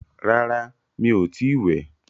Rárá, mi ò tí wẹ̀.